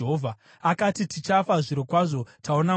Akati, “Tichafa zvirokwazvo! Taona Mwari!”